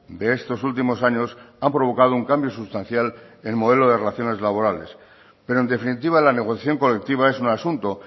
de estos últimos años han provocado un cambio sustancial en el modelo de relaciones laborales pero en definitiva la negociación colectiva es un asunto